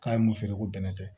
K'a ye mun feere ko bɛnɛ tɛ